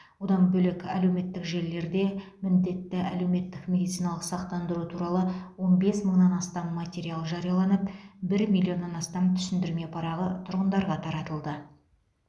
одан бөлек әлеуметтік желілерде міндетті әлеуметтік медициналық сақтандыру туралы он бес мыңнан астам материал жарияланып бір миллионнан астам түсіндірме парағы тұрғындарға таратылды